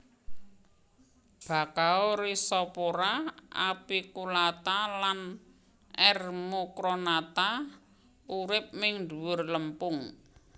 Bakau Rhizophora apiculata lan R mucronata urip ning dhuwur lempung